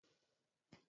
Fursunonin suna da unipom.